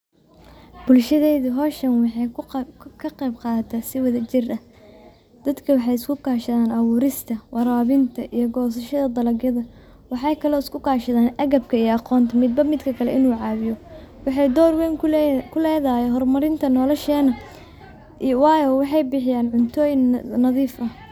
Bulshadeyda hoshan waxeyka qebqadata si wadajir. ah dadka wxay isku kashadan awurista warawinta iyo gosashada dalagyada wxa kale oy iskukashadan agabka iyo aqonta mibamidaka kale inu cawiyo wxay dor wen kuledahay hormarinta noloshena, wayo wxabixiyan cuntoyin nadif ah.